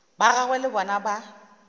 ba gagwe le bona ba